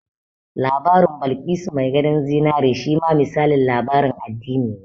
Labarin Balkisu mai gadon zinari shi ma misalin labarin addini ne